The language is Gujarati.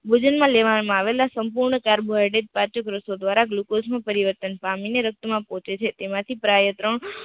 વજન માં લેવા માં આવેલા સંપૂર્ણ કાર્બોહાઈડરડ પાચ્ય ગ્રોથો ધ્વારા ગ્લુકોઝ નું પરિવર્તન પામીને રક્ત માં પહોંચે છે તેમાંથી પ્રયત